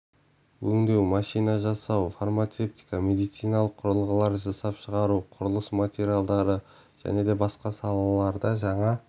өңдеу машина жасау фармацевтика медициналық құрылғылар жасап шығару құрылыс материалдары және басқа да саларда жаңа